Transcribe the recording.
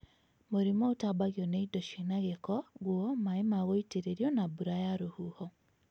Mũrimũ ũtambagio nĩ indo cina giko, nguo, maĩ magũitĩrĩrio na mbura ya rũhuho